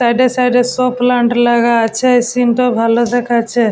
Side -এ side -এ সব প্ল্যান্ট লাগা আছে |এ সিন্ -টা ভালো দেখাচ্ছে।